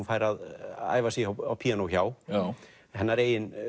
fær að æfa sig á píanó hjá hennar